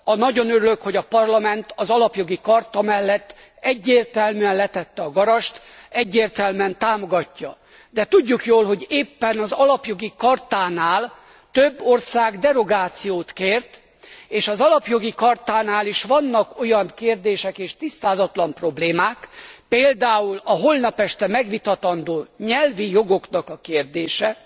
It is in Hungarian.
Nagyon örülök, hogy a Parlament az Alapjogi Charta mellett egyértelműen letette a garast, egyértelműen támogatja, de tudjuk jól, hogy éppen az Alapjogi Chartánál több ország derogációt kért és az Alapjogi Chartánál is vannak olyan kérdések és tisztázatlan problémák például a holnap este megvitatandó nyelvi jogok kérdése